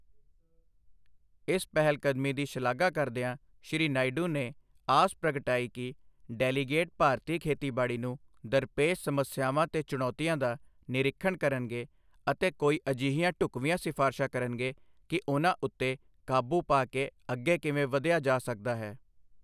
ਇਸ ਪਹਿਲਕਦਮੀ ਦੀ ਸ਼ਲਾਘਾ ਕਰਦਿਆਂ ਸ਼੍ਰੀ ਨਾਇਡੂ ਨੇ ਆਸ ਪ੍ਰਗਟਾਈ ਕਿ ਡੈਲੀਗੇਟ ਭਾਰਤੀ ਖੇਤੀਬਾੜੀ ਨੂੰ ਦਰਪੇਸ਼ ਸਮੱਸਿਆਵਾਂ ਤੇ ਚੁਣੌਤੀਆਂ ਦਾ ਨਿਰੀਖਣ ਕਰਨਗੇ ਅਤੇ ਕੋਈ ਅਜਿਹੀਆਂ ਢੁਕਵੀਂਆਂ ਸਿਫ਼ਾਰਸ਼ਾਂ ਕਰਨਗੇ ਕਿ ਉਨ੍ਹਾਂ ਉੱਤੇ ਕਾਬੂ ਪਾ ਕੇ ਅੱਗੇ ਕਿਵੇਂ ਵਧਿਆ ਜਾ ਸਕਦਾ ਹੈ।